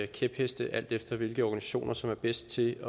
kæpheste alt efter hvilke organisationer som er bedst til